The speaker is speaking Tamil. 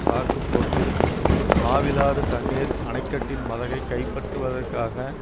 சாக்கு போக்கில் மாவிலாறு தண்ணீர் அனைக்கட்டின் மதகை கைப்பற்றுவதற்காக